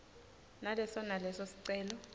naleso naleso sicelo